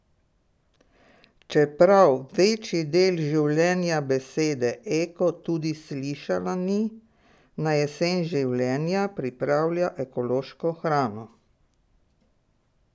Čeprav večji del življenja besede eko tudi slišala ni, na jesen življenja pripravlja ekološko hrano.